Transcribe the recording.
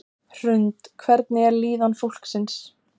Hrund: Hvernig er líðan fólksins?